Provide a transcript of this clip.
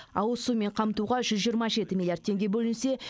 ауызсумен қамтуға жүз жиырма жеті миллиард теңге бөлінсе